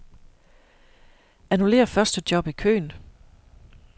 Annullér første job i køen.